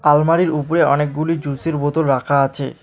আলমারির উপরে অনেকগুলি জুসের বোতল রাখা আছে।